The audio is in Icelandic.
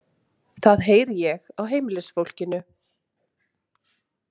Það heyri ég á heimilisfólkinu.